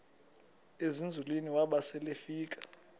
ezinzulwini waba selefika